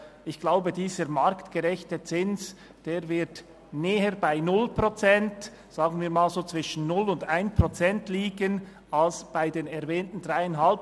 Ich glaube, dieser marktgerechte Zins wird näher bei 0 Prozent als bei den erwähnten 3,5 Prozent liegen – sagen wir mal, zwischen 0 und 1 Prozent.